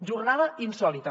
jornada insòlita